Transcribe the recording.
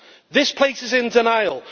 This place is in denial.